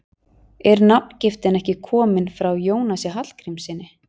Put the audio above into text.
Er nafngiftin ekki komin frá Jónasi Hallgrímssyni?